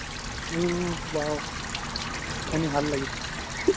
ও শুনি ভাল লাগিল